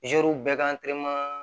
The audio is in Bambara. zeriw bɛɛ ka